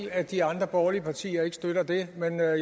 at de andre borgerlige partier ikke støtter det men jeg er